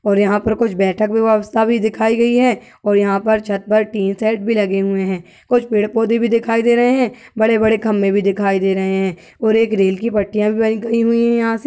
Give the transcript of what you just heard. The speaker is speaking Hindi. और यहाँ पर कुछ बैठक व्यवस्था भी दिखाई गई है और यहाँ पर छत पर टिन शेड भी लगे हुए हैं। कुछ पेड़ पौधे भी दिखाई दे रहें हैं। बड़े-बड़े खंभे भी दिखाई दे रहे है और एक रेल की पटरीयां भी गई हुई हैं यहाँ से।